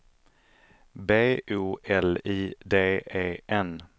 B O L I D E N